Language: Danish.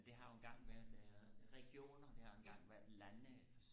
men det har jo engang været regioner det har jo engang været lande